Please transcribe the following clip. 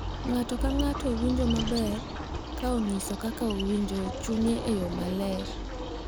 Ng’ato ka ng’ato winjo maber ka onyiso kaka owinjo e chunye e yo maler.